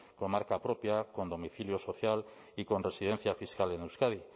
con marca propia con domicilio social y con residencia fiscal en euskadi